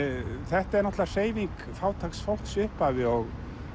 þetta er náttúrulega hreyfing fátæks fólks í upphafi og